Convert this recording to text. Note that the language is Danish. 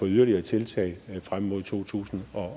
yderligere tiltag frem mod to tusind